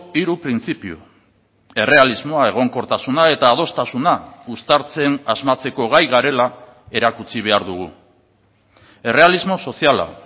hiru printzipio errealismoa egonkortasuna eta adostasuna uztartzen asmatzeko gai garela erakutsi behar dugu errealismo soziala